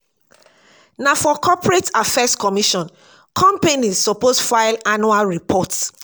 na for corporate affairs commission companies suppose file annual report.